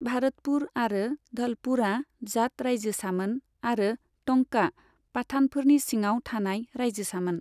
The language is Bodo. भारतपुर आरो धलपुरआ जाट राइजोसामोन आरो टंकआ पाठानफोरनि सिङाव थानाय राइजोसामोन।